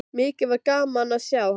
Mikið var gaman að sjá hann.